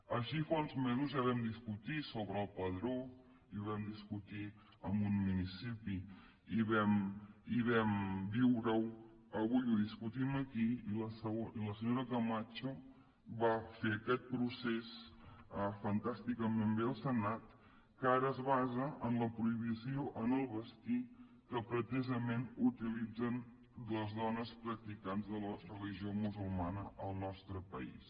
així fa uns mesos ja vam discutir sobre el padró i ho vam discutir amb un municipi i vam viure ho avui ho discutim aquí i la senyora camacho va fer aquest procés fantàsticament bé al senat que ara es basa en la prohibició en el vestir que pretesament utilitzen les dones practicants de la religió musulmana al nostre país